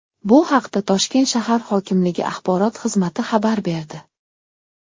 Bu haqda Toshkent shahar hokimligi Axborot xizmati xabar berdi .